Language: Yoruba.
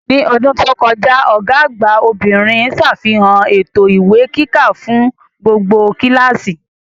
Ní ọdún tó kọjá, Ọ̀gá àgbà obìnrin sàfihàn ètò ìwé kíkà fún gbogbo kíláàsì